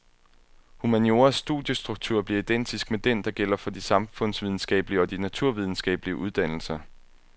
Humanioras studiestruktur bliver identisk med den, der gælder for de samfundsvidenskabelige og de naturvidenskabelige uddannelser.